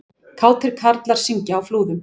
Kátir karlar syngja á Flúðum